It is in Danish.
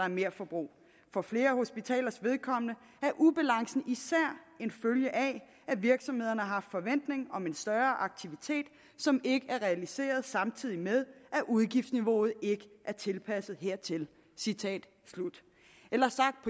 i merforbrug for flere hospitalers vedkommende er ubalancen især en følge af at virksomhederne har haft forventning om en større aktivitet som ikke er realiseret samtidig med at udgiftsniveauet ikke er tilpasset hertil citat slut eller sagt